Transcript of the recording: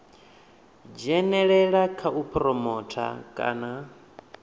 dzhenelela kha u phuromotha kana